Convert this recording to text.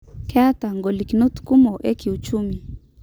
'Kiata ngolikinot kumok ekiuchumi.